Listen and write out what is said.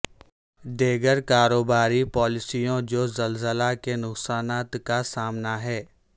دیگر کاروباری پالیسیوں جو زلزلہ کے نقصانات کا سامنا ہے